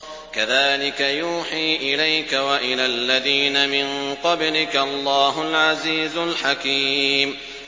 كَذَٰلِكَ يُوحِي إِلَيْكَ وَإِلَى الَّذِينَ مِن قَبْلِكَ اللَّهُ الْعَزِيزُ الْحَكِيمُ